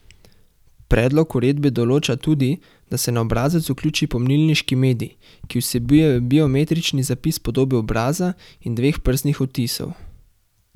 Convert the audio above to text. Predlog uredbe določa tudi, da se na obrazec vključi pomnilniški medij, ki vsebuje biometrični zapis podobe obraza in dveh prstnih odtisov.